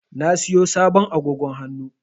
Na siyo sabon agogo hannu.